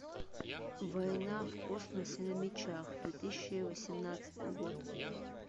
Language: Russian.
война в космосе на мечах две тысячи восемнадцатый год